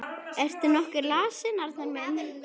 Ertu nokkuð lasinn, Arnar minn?